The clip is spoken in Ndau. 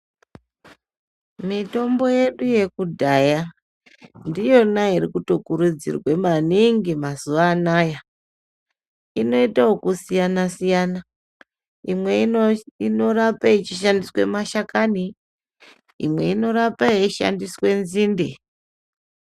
Mitombo yedu yekudhaya, ndiyona iri kutokurudzirwe maningi mazuwa anaya. Inoite okusiyana siyana, imwe ino inorape yeishandiswe mashakani, imwe inorapa yeishandiswe nzinde.